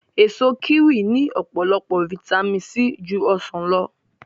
Èso kíwì ní ọ̀pọ̀lọpọ̀ fitamíìnì C ju ọsàn lọ